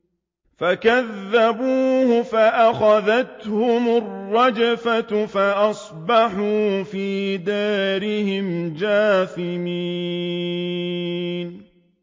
فَكَذَّبُوهُ فَأَخَذَتْهُمُ الرَّجْفَةُ فَأَصْبَحُوا فِي دَارِهِمْ جَاثِمِينَ